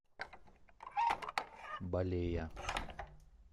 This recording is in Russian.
балея